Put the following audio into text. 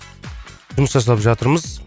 жұмыс жасап жатырмыз